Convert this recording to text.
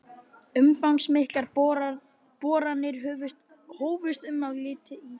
Umfangsmiklar boranir hófust um þetta leyti í